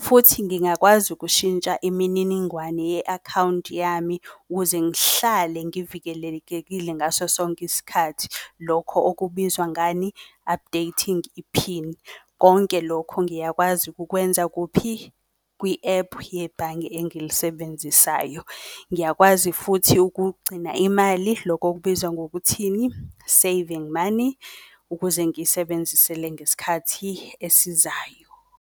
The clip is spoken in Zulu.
futhi ngingakwazi ukushintsha imininingwane ye-akhawunti yami. Ukuze ngihlale ngivikelekekile ngaso sonke isikhathi, lokho okubizwa ngani, updating iphini. Konke lokho ngiyakwazi kukwenza kuphi? Kwi-ephu yebhange engilisebenzisayo. Ngiyakwazi futhi ukugcina imali loko okubizwa ngokuthini? Saving money, ukuze ngiyisebenzisele ngesikhathi esizayo.